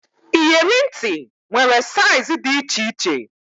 Iyeri ntị nwere saiz dị iche iche